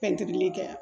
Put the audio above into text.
Pɛntiri kɛ